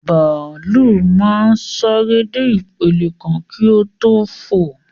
Bàálù máa ń sáré dé ìpele kan kí o tó fò